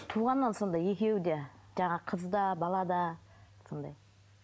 туғаннан сондай екеуі де жаңағы қыз да бала да сондай